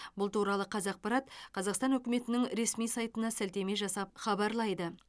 бұл туралы қазақпарат қазақстан үкіметінің ресми сайтына сілтеме жасап хабарлайды